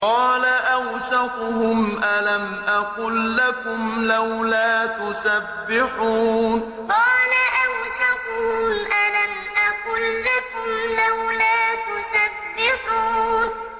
قَالَ أَوْسَطُهُمْ أَلَمْ أَقُل لَّكُمْ لَوْلَا تُسَبِّحُونَ قَالَ أَوْسَطُهُمْ أَلَمْ أَقُل لَّكُمْ لَوْلَا تُسَبِّحُونَ